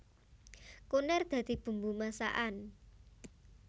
Kunir dadi bumbu masakan